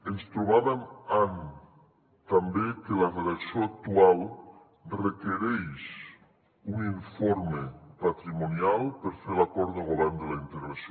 ens trobàvem amb també que la redacció actual requereix un informe patrimonial per fer l’acord de govern de la integració